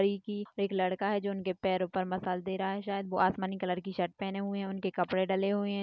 एक लड़का है जो उनके पैरों पर मसाज दे रहा है शायद वो आसमानी कलर की शर्ट पहने हुए है उनके कपड़े डले हुए है।